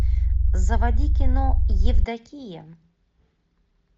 заводи кино евдокия